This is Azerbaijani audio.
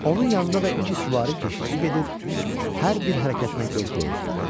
Onun yanında da iki süvari keşişi gedir, hər bir hərəkətinə göz qoyurdular.